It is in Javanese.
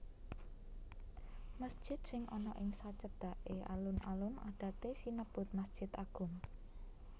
Mesjid sing ana ing sacedhaké alun alun adaté sinebut masjid agung